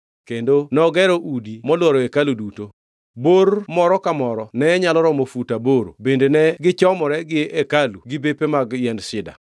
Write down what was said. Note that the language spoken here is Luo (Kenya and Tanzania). Kendo nogero udi molworo hekalu duto. Bor moro ka moro ne nyalo romo fut aboro bende ne gichomore gi hekalu gi bepe mag yiend sida.